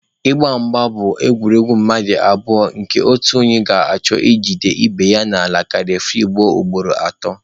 Mgba bụ egwuregwu mmadụ abụọ nke otu onye ga-achọ i jide ibe ya n'ala ka refuri guzuo ugboro atọ.